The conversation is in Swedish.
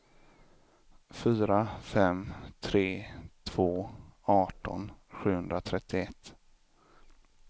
fyra fem tre två arton sjuhundratrettioett